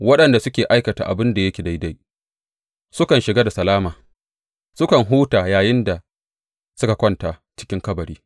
Waɗanda suke aikata abin da yake daidai sukan shiga da salama; sukan huta yayinda suka kwanta cikin kabari.